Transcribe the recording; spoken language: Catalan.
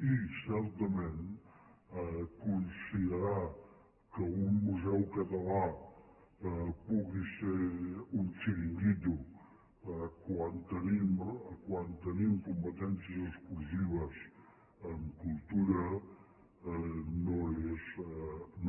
i certament considerar que un museu català pugui ser un xiringuito quan tenim competències exclusives en cultura